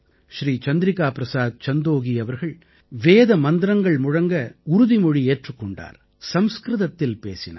ஸ்ரீ சந்திரிகா பிரஸாத் சந்தோகீ அவர்கள் வேத மந்திரங்கள் முழங்க சபதமேற்றுக் கொண்டார் சம்ஸ்க்ருதத்தில் பேசினார்